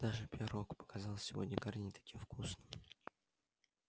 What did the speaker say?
даже пирог показался сегодня гарри не таким вкусным